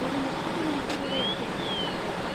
ഒരു മുപ്പത് മിനിറ്റ് കൂടെ എടുത്തേക്കും അവിടെ എത്താൻ.